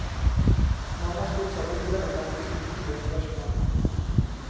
Mange har stilt seg undrende til hennes utrolige engasjement.